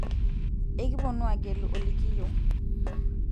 ekiponu aagelu olikiyieu